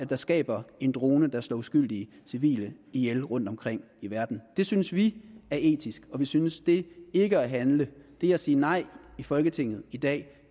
der skaber en drone der slår uskyldige civile ihjel rundtomkring i verden det synes vi er etisk og vi synes at det ikke at handle det at sige nej i folketinget i dag